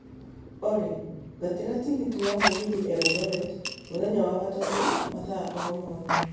olly ngatĩra tigiti wa mũgithi eldoret mũthenya wa gatatũ wa mathaa o rĩothe